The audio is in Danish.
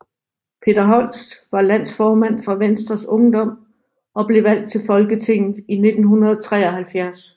Peter Holst var landsformand for Venstres Ungdom og blev valgt til Folketinget i 1973